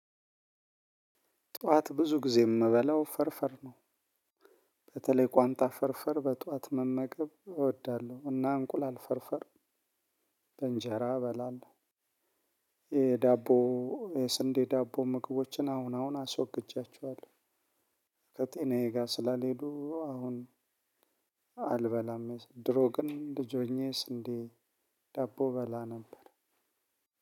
ጠዋት ብዙ ጊዜ የምበለው ፍርፍር ነው። በተለይ ቋንጣ ፍርፍር በጠዋት መመገብ እወዳለሁ እና እንቁላል ፍርፍር በእንጀራ እበላለሁ። የዳቦ የስንዴ ዳቦ ምግቦችን አሁን አሁን አስወግጃቸዋለሁ። ከጤናዬ ጋር ስላልሄዱ አሁን አልበላም። ድሮ ግን ልጅ ሆኜ የስንዴ ደቦ እበላ ነበር።